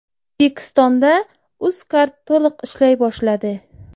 O‘zbekistonda Uzcard to‘liq ishlay boshladi.